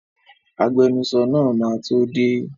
Agbenusọ náà máa tó dé.